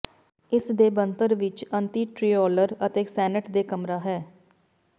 ਇਸ ਦੇ ਬਣਤਰ ਵਿੱਚ ਅਤੇਿੰਟਰਿੋਲਰ ਅਤੇ ਸੈਨੇਟ ਦੇ ਕਮਰਾ ਹੈ